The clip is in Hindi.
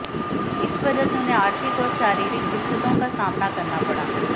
इस वजह से उन्हें आर्थिक और शारीरिक दिक्कतों का सामना करना पड़ा